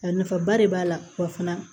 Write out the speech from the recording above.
A nafaba de b'a la wa fana